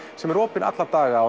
sem er opinn alla daga